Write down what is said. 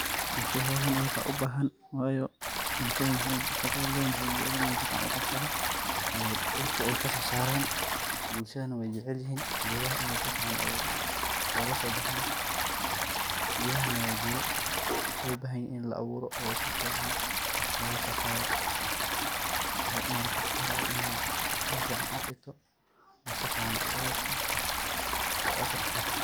Bulshada howshan iyaga ubahan wayo bushada shaqo walbo wexey jecelyihin in ey sifican uqabsadan oo dhirta ey kasosaran bulshadana wey jecelyihin gedaha in ey sifican olasobaxan, gedahana wa geda lobahanyahay in laaburo oo sifican lososaro wayo mararka qar wa in ad meel fican ad dhigto oo sifican ad uaburto oo ad kataxadarto.